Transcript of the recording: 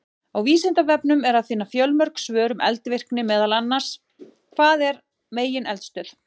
Á Vísindavefnum er að finna fjölmörg svör um eldvirkni, meðal annars: Hvað er megineldstöð?